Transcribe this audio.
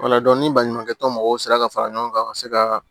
Wala ni baɲumankɛ tɔn mɔgɔw sera ka fara ɲɔgɔn kan ka se ka